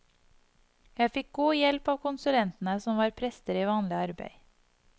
Jeg fikk god hjelp av konsulentene, som var prester i vanlig arbeid.